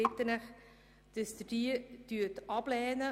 Ich bitte Sie, diese abzulehnen.